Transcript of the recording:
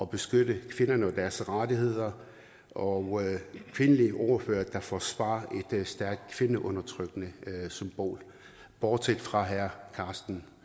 beskytte kvinderne og deres rettigheder og kvindelige ordførere der forsvarer et stærkt kvindeundertrykkende symbol bortset fra herre karsten